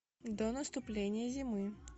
до наступления зимы